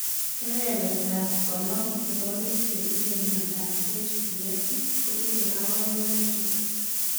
Kebebertap 50 nebo biik chetinye miondop HPS kotinye kaborunoik chutok